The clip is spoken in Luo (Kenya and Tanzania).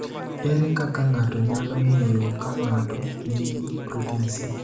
Ere kaka ng’ato nyalo ng’eyo ka ng’ato nigi protin C?